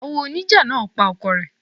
Ìyàwó oníjà náà pa ọkọ rẹ̀.